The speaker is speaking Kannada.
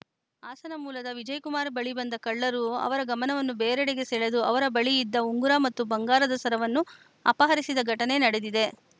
ಹಾಸನ ಮೂಲದ ವಿಜಯಕುಮಾರ್‌ ಬಳಿ ಬಂದ ಕಳ್ಳರು ಅವರ ಗಮನವನ್ನು ಬೇರೆಡೆಗೆ ಸೆಳೆದು ಅವರ ಬಳಿ ಇದ್ದ ಉಂಗುರ ಮತ್ತು ಬಂಗಾರದ ಸರವನ್ನು ಅಪಹರಿಸಿದ ಘಟನೆ ನೆಡೆದಿದೆ